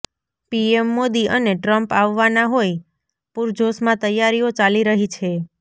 PM Modi અને Trump આવવાના હોઈ પુરજોશમાં તૈયારીઓ ચાલી રહી છે